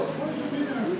Hər şey belədir.